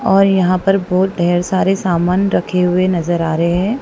और यहां पर बहुत ढेर सारे सामान रखे हुए नजर आ रहे हैं।